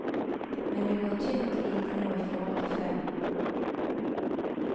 Men det går tynt lite nå i forhold til før.